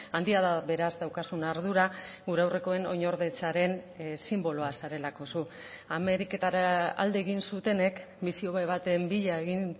handia da beraz daukazun ardura gure aurrekoen oinordetzaren sinboloa zarelako zu ameriketara alde egin zutenek bizi hobe baten bila egin